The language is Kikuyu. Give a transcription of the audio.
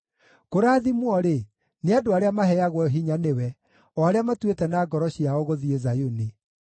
Kũrathimwo-rĩ, nĩ andũ arĩa maheagwo hinya nĩwe, o arĩa matuĩte na ngoro ciao gũthiĩ Zayuni.